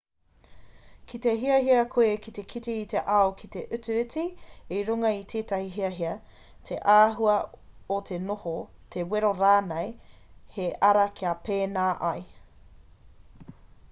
ki te hiahia koe ki te kite i te ao ki te utu iti i runga i te hiahia te āhua o te noho te wero rānei he ara kia pēnā ai